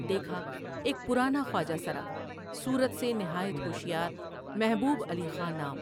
دیکھا ایک پرانا خواجہ سرا ، صورت سے نہایت ہوشیار محبوب علی خاں نام ۔